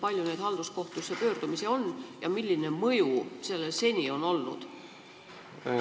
Kui palju neid halduskohtusse pöördumisi on ja milline mõju sellel seni on olnud?